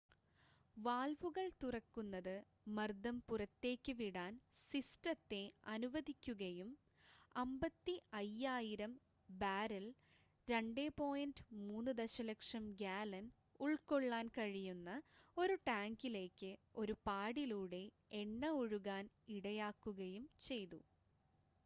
വാൽവുകൾ തുറക്കുന്നത് മർദ്ദം പുറത്തേക്ക് വിടാൻ സിസ്റ്റത്തെ അനുവദിക്കുകയും 55,000 ബാരൽ 2.3 ദശലക്ഷം ഗാലൻ ഉള്‍ക്കൊള്ളാൻ കഴിയുന്ന ഒരു ടാങ്കിലേക്ക് ഒരു പാഡിലൂടെ എണ്ണ ഒഴുകാൻ ഇടയാക്കുകയും ചെയ്തു